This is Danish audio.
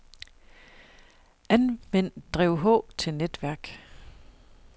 Anvend drev H til netværk.